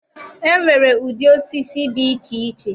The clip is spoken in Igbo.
E nwere ụdị osisi dị iche iche.